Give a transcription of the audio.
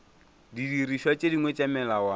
didirišwa tše dingwe tša melawana